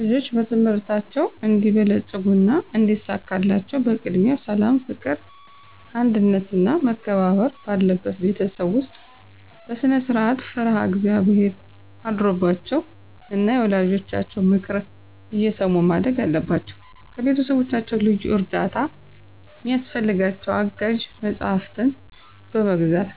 ልጆች በትምህርታቸው እንዲበለጽጉና እንዲሳካላቸው በቅድሚያ ሠላም፣ ፍቅር፣ አንድነትና መከባበር ባለበት ቤተሰብ ውስጥ በስነስርዓት፣ ፈሪሀ እግዚአብሔር አድሮባቸው ና የወላጆቻቸውን ምክር እየሰሙ ማደግ አለባቸው። ከቤተሰቦቻቸው ልዩ እርዳታ ሚያስፈልጋቸው አጋዥ መጽሐፍትን በመግዛት፣